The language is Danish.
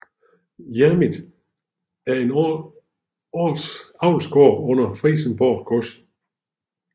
Jernit er en avlsgård under Frijsenborg Gods